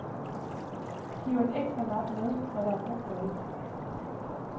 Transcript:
Giver et ekstra nap med, når der er brug for det.